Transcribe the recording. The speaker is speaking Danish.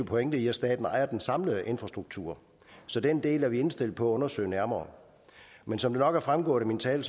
pointe i at staten ejer den samlede infrastruktur så den del er vi indstillet på at undersøge nærmere men som det nok er fremgået af min tale